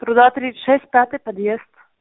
труда тридцать шесть пятый подъезд